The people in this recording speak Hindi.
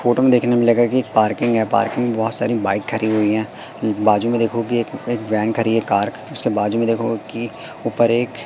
फोटो में देखने को मिलेगा कि पार्किंग है पार्किंग में बहुत सारी बाइक खड़ी हुई हैं बाजू में देखो कि एक खड़ी है कार उसके बाजू में देखो कि ऊपर एक--